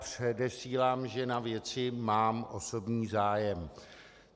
Předesílám, že na věci mám osobní zájem.